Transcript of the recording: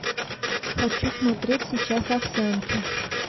хочу смотреть сейчас овсянки